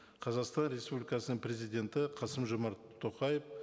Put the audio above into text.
қазақстан республикасының президенті қасым жомарт тоқаев